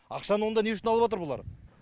ақшаны онда не үшін алып отыр олар